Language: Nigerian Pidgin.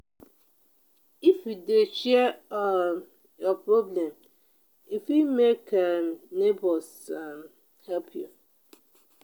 if you dey share um your problem e fit make um nebors um help you.